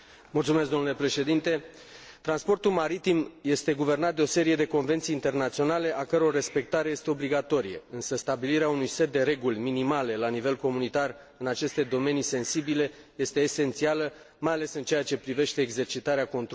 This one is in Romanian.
Transportul maritim este guvernat de o serie de convenții internaționale a căror respectare este obligatorie, însă stabilirea unui set de reguli minimale la nivel comunitar în aceste domenii sensibile este esențială, mai ales în ceea ce privește exercitarea controlului aplicării legislației.